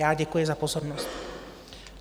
Já děkuji za pozornost.